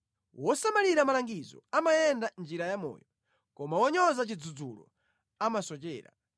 Wosamalira malangizo amayenda mʼnjira ya moyo, koma wonyoza chidzudzulo amasochera.